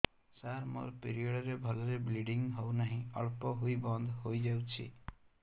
ସାର ମୋର ପିରିଅଡ଼ ରେ ଭଲରେ ବ୍ଲିଡ଼ିଙ୍ଗ ହଉନାହିଁ ଅଳ୍ପ ହୋଇ ବନ୍ଦ ହୋଇଯାଉଛି